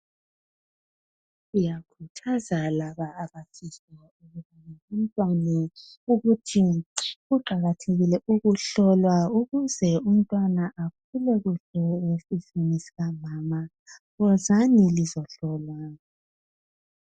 Ngikhuthaza labo abazithweleyo ukuthi kuqakathekile ukuhlolwa ukuze umntwana akhule kuhle esiswini sikanina. Wozani lizehlolwa.